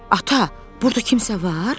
Ata, burda kimsə var?